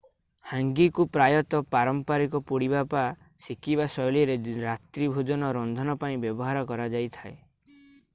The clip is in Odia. ହାଙ୍ଗିକୁ ପ୍ରାୟତଃ ପାରମ୍ପରିକ ପୋଡ଼ିବା ବା ସେକିବା ଶୈଳୀର ରାତ୍ରୀ ଭୋଜନ ରନ୍ଧନ ପାଇଁ ବ୍ୟବହାର କରା ଯାଇଥାଏ